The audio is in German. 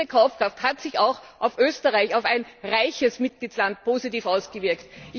Und diese Kaufkraft hat sich auch auf Österreich, auf einen reichen Mitgliedstaat, positiv ausgewirkt.